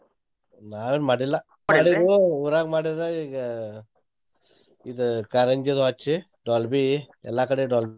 ನಾವೇನ್ ಮಾಡಿಲ್ಲಾ ಊರಾಗ್ ಮಾಡಿರ್ರ ಈಗ ಇದ್ ಕಾರಂಜಿ ಅದು ಹಚ್ಚಿ Dolbey ಎಲ್ಲಾ ಕಡೆ Dolbey